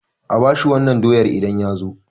A bashi wannan doyar idan ya zo